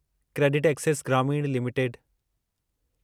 CreditAccess Grameen limited